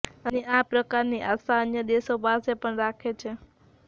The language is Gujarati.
અને આ પ્રકારની આશા અન્ય દેશો પાસે પણ રાખે છે